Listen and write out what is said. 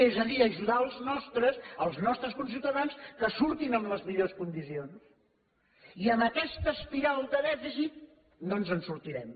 és a dir ajudar els nostres els nostres conciutadans que en surtin en les millors condicions i amb aquesta espiral de dèficit no ens en sortirem